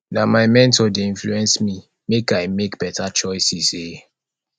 na my mentor dey influence me make i make beta choices um